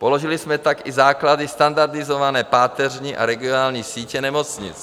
Položili jsme tak i základy standardizované páteřní a regionální sítě nemocnic.